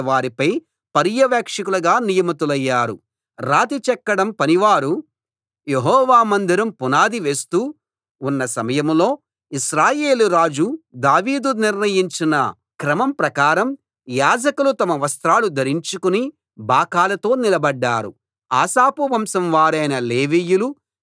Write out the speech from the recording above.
రాతి చెక్కడం పనివారు యెహోవా మందిరం పునాది వేస్తూ ఉన్న సమయంలో ఇశ్రాయేలు రాజు దావీదు నిర్ణయించిన క్రమం ప్రకారం యాజకులు తమ వస్త్రాలు ధరించుకుని బాకాలతో నిలబడ్డారు ఆసాపు వంశం వారైన లేవీయులు చేతి తాళాలతో యెహోవాను స్తుతించారు